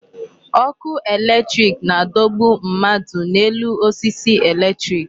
Ọkụ electric na-adọgbu mmadụ n'elu osisi electric.